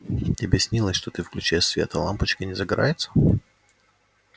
тебе снилось что ты включаешь свет а лампочка не загорается